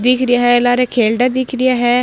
दिख रा है लार खेलडा दिख रा है।